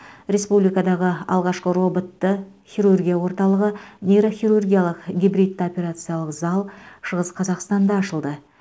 республикадағы алғашқы роботты хирургия орталығы нейрохирургиялық гибридті операциялық зал шығыс қазақстанда ашылды